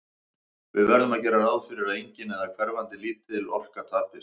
Við verðum að gera ráð fyrir að engin, eða hverfandi lítil, orka tapist.